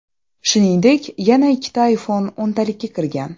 Shuningdek, yana ikkita iPhone o‘ntalikka kirgan.